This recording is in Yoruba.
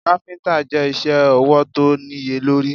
Káfíntà je isẹ́ ọwọ̀ tó níye lórí.